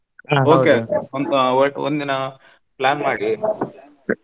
ಸ್ವಲ್ಪ ಒ~ ಒಂದಿನಾ plan ಮಾಡಿ.